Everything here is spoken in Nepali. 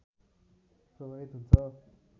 प्रभावित हुन्छ